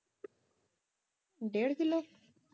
ਡੇਢ ਕਿਲੋ